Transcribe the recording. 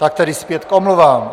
- Tak tedy zpět k omluvám.